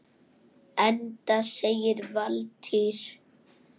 Enda segir Valtýr